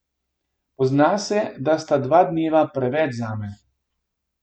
Pozna se, da sta dva dneva preveč zame.